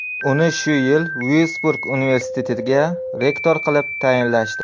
Uni shu yili Vyursburg universitetiga rektor qilib tayinlashdi.